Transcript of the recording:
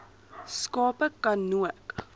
skape ka nook